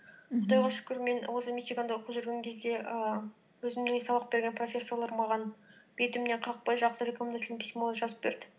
құдайға шүкір мен осы мичиганда оқып жүрген кезде ііі өзіме сабақ берген профессорлар маған бетімнен қақпай жақсы рекомендательное письмо жазып берді